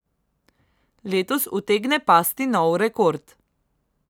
Letos utegne pasti nov rekord.